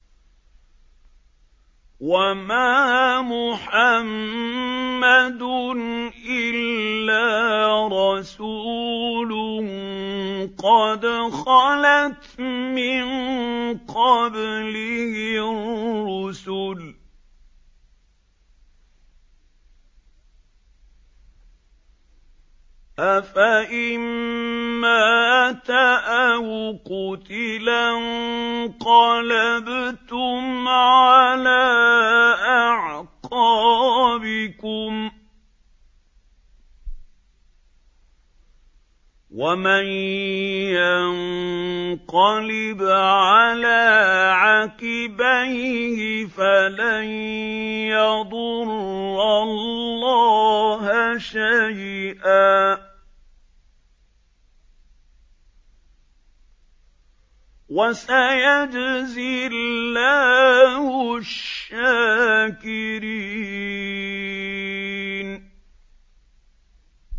وَمَا مُحَمَّدٌ إِلَّا رَسُولٌ قَدْ خَلَتْ مِن قَبْلِهِ الرُّسُلُ ۚ أَفَإِن مَّاتَ أَوْ قُتِلَ انقَلَبْتُمْ عَلَىٰ أَعْقَابِكُمْ ۚ وَمَن يَنقَلِبْ عَلَىٰ عَقِبَيْهِ فَلَن يَضُرَّ اللَّهَ شَيْئًا ۗ وَسَيَجْزِي اللَّهُ الشَّاكِرِينَ